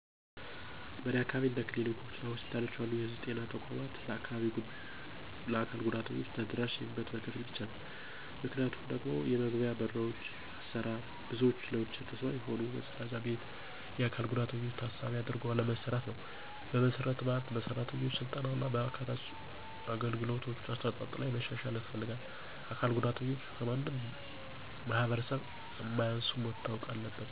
በእኔ አካባቢ እንደ ክሊኒኮች እና ሆስፒታሎች ያሉ የህዝብ ጤና ተቋማት ለአካል ጉዳተኞች ተደራሽ የሚሆኑት በከፊል ብቻ ነው። ምክንያቱም ደግሞ የመግቢያዎ በሮች አሰራር፣ ብዙዎች ለዊልቸር ተስማሚ የሆነ፣ መጸዳጃ ቤት፣ እና የአካል ጉዳተኞችን ታሳቢ አድርጎ አለመሰራትነው። በመሠረተ ልማት፣ በሠራተኞች ሥልጠና እና በአካታች አገልግሎት አሰጣጥ ላይ መሻሻያ ያስፈልጋል። አካል ጉዳተኞች ከማንም ማህበረሰብ እንማያንሱ መታወቅ አለበት።